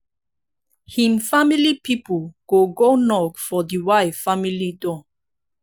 him family pipol go go knock for di wife family door